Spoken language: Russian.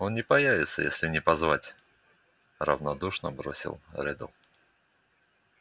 он не появится если не позвать равнодушно бросил реддл